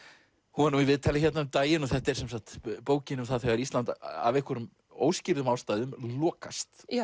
hún var nú í viðtali hérna um daginn þetta er sem sagt bókin um það þegar Ísland af einhverjum óskýrðum ástæðum lokast